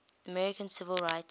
american civil rights